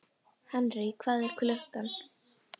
Henry, hvað er klukkan?